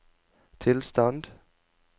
tilstand